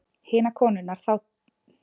Hinar konurnar sátu og þögðu.